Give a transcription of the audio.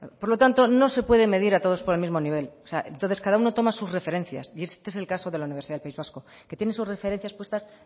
por lo tanto no se puede medir a todos por el mismo nivel o sea entonces cada uno toma sus referencias y este es el caso de la universidad del país vasco que tiene sus referencias puestas